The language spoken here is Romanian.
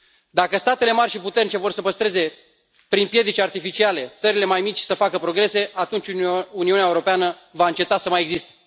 Dacă statele mari și puternice vor să împiedice, prin piedici artificiale, țările mai mici să facă progrese, atunci Uniunea Europeană va înceta să mai existe.